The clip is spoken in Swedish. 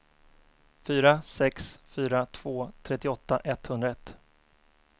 fyra sex fyra två trettioåtta etthundraett